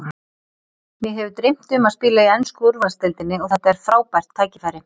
Mig hefur dreymt um að spila í ensku úrvaldsdeildinni og þetta er frábært tækifæri.